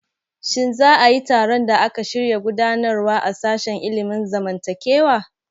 Shin za a yi taron da aka shirya gudanarwa a sashen ilimin zamantakewa?